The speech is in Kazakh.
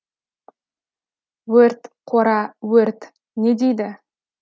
өрт қора өрт не дейді